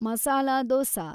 masala dosa